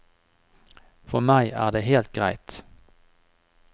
For meg er det helt greit.